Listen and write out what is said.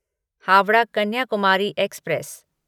Howrah Kanyakumari express